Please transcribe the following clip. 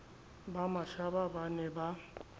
ba mashaba ba ne ba